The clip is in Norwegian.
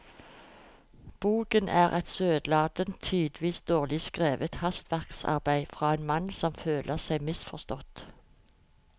Boken er et søtladent, tidvis dårlig skrevet hastverksarbeid fra en mann som føler seg misforstått.